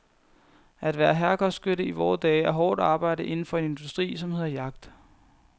At være herregårdsskytte i vore dage er hårdt arbejde inden for en industri, som hedder jagt.